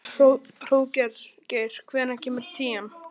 Hróðgeir, hvenær kemur tían?